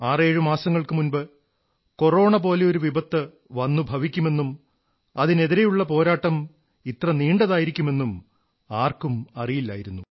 ആറേഴു മാസങ്ങൾക്കു മുമ്പ് കൊറോണപോലെയൊരു വിപത്ത് വന്നുഭവിക്കുമെന്നും അതിനെതിരെയുള്ള പോരാട്ടം ഇത്ര നീണ്ടതായിരിക്കുമെന്നും ആർക്കും അറിയില്ലായിരുന്നു